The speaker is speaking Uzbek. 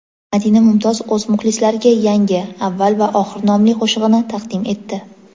Madina Mumtoz o‘z muxlislariga yangi "Avval va oxir " nomli qo‘shig‘ini taqdim etdi.